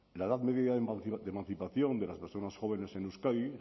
la edad media de emancipación de las personas jóvenes en euskadi